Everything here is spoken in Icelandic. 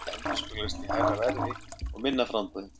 Þetta endurspeglast í hærra verði og minna framboði.